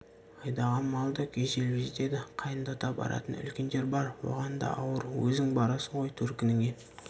айдаған мал да күйзеліп жетеді қайындата баратын үлкендер бар оған да ауыр өзің барасың ғой төркініңе